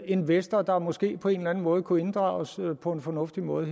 investor der måske på en eller anden måde kunne inddrages her på en fornuftig måde